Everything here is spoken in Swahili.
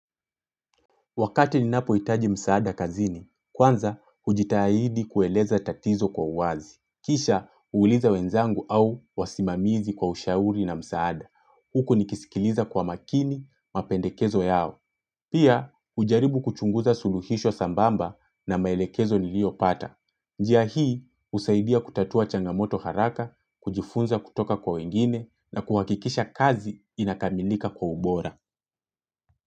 Wakati ni napo itaji msaada kazini, kwanza ujitahidi kueleza tatizo kwa uwazi. Kisha uuliza wenzangu au wasimamizi kwa ushauri na msaada. Huku nikisikiliza kwa makini, mapendekezo yao. Pia ujaribu kuchunguza suluhisho sambamba na maelekezo niliopata. Njia hii usaidia kutatua changamoto haraka, kujifunza kutoka kwa wengine na kuhakikisha kazi inakamilika kwa ubora.